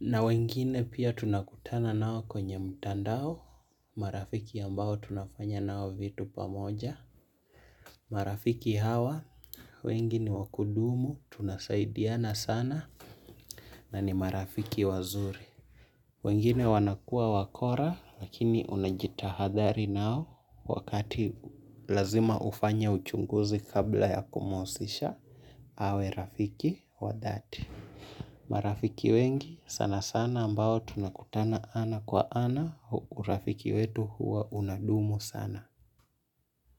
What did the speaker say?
Na wengine pia tunakutana nao kwenye mtandao, marafiki ambao tunafanya nao vitu pamoja. Marafiki hawa wengi niwakudumu tunasaidiana sana na ni marafiki wazuri. Wengine wanakua wakora, lakini unajitahadhari nao wakati lazima ufanya uchunguzi kabla ya kumuhusisha, awe rafiki wadhati. Marafiki wengi, sana sana ambao tunakutana ana kwa ana, urafiki wetu huwa unadumu sana.